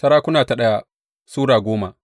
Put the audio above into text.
daya Sarakuna Sura goma